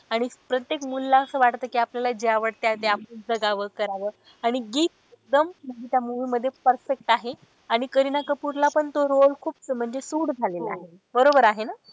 आणि प्रत्येक मुलीला असं वाटत कि आपल्याला जे आवडत ते आपण जगावं करावं आणि जीत एकदम म्हणजे त्या movie मध्ये perfect आहे. आणि करीना कपूर ला पण तो role खूप म्हणजे suit झालेला आहे. बरोबर आहे ना?